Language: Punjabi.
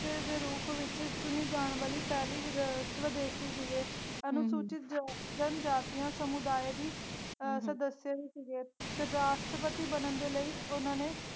ਦੇ ਰੂਪ ਵਿਚ ਚੁਣੀ ਜਾਣ ਵਾਲੀ ਪਹਿਲੀ ਵੀ ਸਵਦੇਸ਼ੀ ਸੀਗੇ ਅਨੁਸੂਚਿਤ ਜਨ ਜਾਤੀਏ ਸਮੁਦਾਏ ਦੀ ਸਦੱਸਿਆਂ ਵੀ ਸੀਗੇ ਤੇ ਰਾਸ਼ਟਰਪਤੀ ਬਣਨ ਦੇ ਲਈ ਉਨ੍ਹਾਂ ਨੇ।